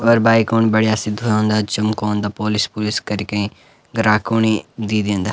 और बाइकों बढ़िया सी धुयोंदा चम्कोंदा पोलिश -पुलिश करिकें ग्राहकोंणी दे दिन्दा।